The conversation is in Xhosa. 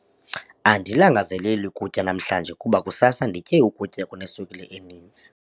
Andilangazaleli kutya namhlanje kuba kusasa nditye ukutya okuneswekile eninzi.